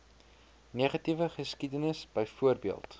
negatiewe geskiedenis byvoorbeeld